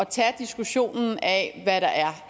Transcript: tage diskussionen af hvad der er